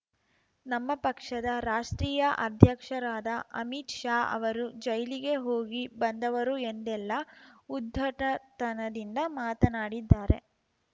ನಮ್ಮ ಪಕ್ಷದ ರಾಷ್ಟ್ರೀಯ ಅಧ್ಯಕ್ಷರಾದ ಅಮಿತ್‌ ಶಾ ಅವರು ಜೈಲಿಗೆ ಹೋಗಿ ಬಂದವರು ಎಂದೆಲ್ಲ ಉದ್ಧಟತನದಿಂದ ಮಾತನಾಡಿದ್ದಾರೆ